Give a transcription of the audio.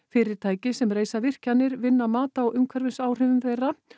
fyrirtæki sem reisa virkjanir vinna mat á umhverfisáhrifum þeirra